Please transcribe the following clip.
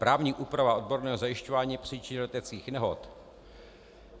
Právní úprava odborného zajišťování příčin leteckých nehod.